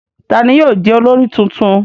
Ta ni yóò jẹ́ olórí tuntun?